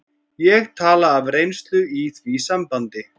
Ég tala af reynslu í því sambandi.